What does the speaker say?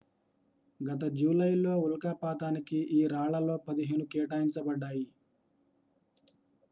గత జూలైలో ఉల్కాపాతానికి ఈ రాళ్లలో పదిహేను కేటాయించబడ్డాయి